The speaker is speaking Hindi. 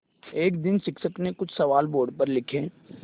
एक दिन शिक्षक ने कुछ सवाल बोर्ड पर लिखे